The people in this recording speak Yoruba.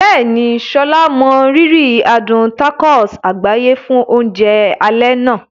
Bẹ́ẹ̀ni, Sola mọrírì adùn tacos àgbáyé fún oúnjẹ alẹ́ àná.